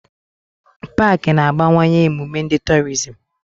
Pááki na-abawanye emume ndi torizim